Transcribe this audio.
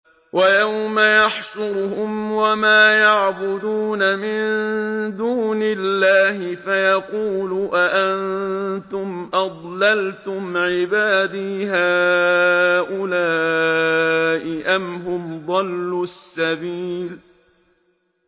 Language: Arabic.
وَيَوْمَ يَحْشُرُهُمْ وَمَا يَعْبُدُونَ مِن دُونِ اللَّهِ فَيَقُولُ أَأَنتُمْ أَضْلَلْتُمْ عِبَادِي هَٰؤُلَاءِ أَمْ هُمْ ضَلُّوا السَّبِيلَ